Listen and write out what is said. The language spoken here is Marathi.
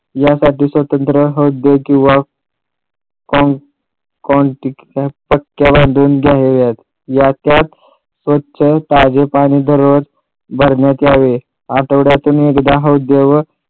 यासाठी स्वतंत्र हौद किंवा याच्यात स्वच्छ ताज पाणी दररोज भरण्यात यावे. आठवड्यातून एकदा हौदेवर